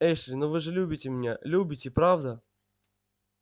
эшли но вы же любите меня любите правда